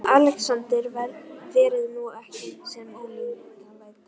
ALEXANDER: Verið nú ekki með ólíkindalæti.